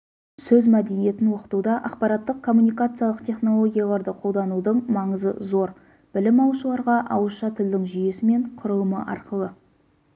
сөз мәдениетін оқытуда ақпараттық-коммуникациялық технологияларды қолданудың маңызы зор білім алушыларға ауызша тілдің жүйесі мен құрылымы арқылы